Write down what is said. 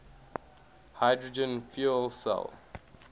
hydrogen fuel cell